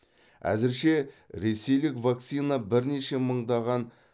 әзірше ресейлік вакцина бірнеше мыңдаған